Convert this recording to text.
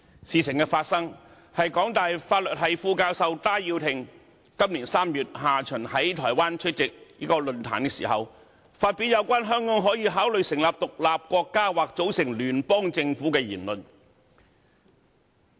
事情發生的過程，是香港大學法律系副教授戴耀廷，於今年3月下旬在台灣出席論壇時，發表有關香港可以考慮成立獨立國家或組成聯邦政府的言論。